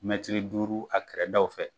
Mɛtɛrɛ duuru a kɛrɛdaw fɛ